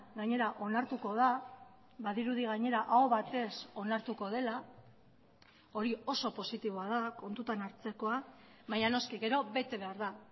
gainera onartuko da badirudi gainera aho batez onartuko dela hori oso positiboa da kontutan hartzekoa baina noski gero bete behar da